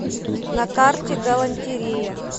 на карте галантерея